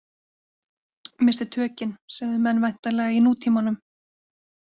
Missti tökin, segðu menn væntanlega í nútímanum.